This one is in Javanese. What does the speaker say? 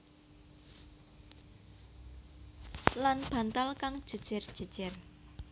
Lan bantal kang jèjèr jèjèr